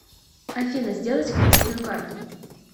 афина сделать кредитную карту